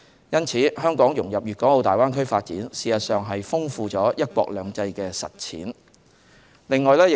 因此，香港融入粵港澳大灣區發展，事實上是豐富了"一國兩制"的實踐。